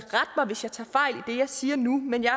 jeg siger nu men jeg